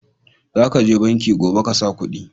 Za ka je banki gobe ka sa kudi